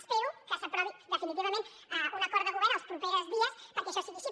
espero que s’aprovi definitivament un acord de govern els propers dies perquè això sigui així